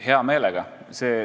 Hea meelega muudaks!